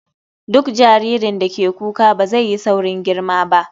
Duk jaririn da ke kuka ba zai yi saurin girma ba.